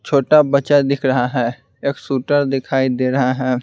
छोटा बच्चा दिख रहा है एक शूटर दिखाई दे रहा है।